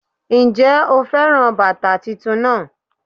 N jé o féràn bàtà titun náà